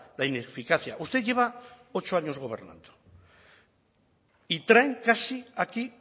la ineficacia usted lleva ocho años gobernando y traen casi aquí